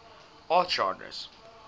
art genres